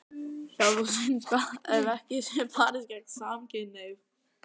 Það sé þó synd ef ekki sé barist gegn samkynhneigð.